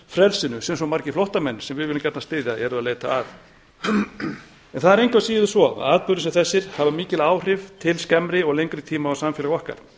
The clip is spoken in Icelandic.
frelsinu sem svo margir flóttamenn sem við viljum gjarnan styðja eru að leita að það er engu að síður svo að atburðir sem þessir hafa mikil áhrif til skemmri og lengri tíma á samfélög okkar